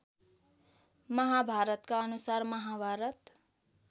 महाभारतका अनुसार महाभारत